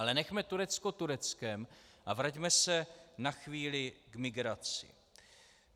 Ale nechme Turecko Tureckem a vraťme se na chvíli k migraci.